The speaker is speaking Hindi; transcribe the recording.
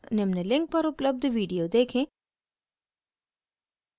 निम्न link पर उपलब्ध video देखें